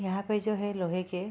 यहाँ पे जो है लोहे के --